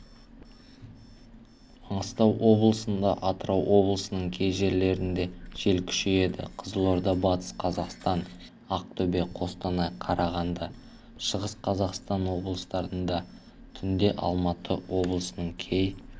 маңғыстау облысында атырау облысының кей жерлерінде жел күшейеді қызылорда батыс қазақстан ақтөбе қостанай қарағанды шығыс қазақстан облыстарында түнде алматы облысының кей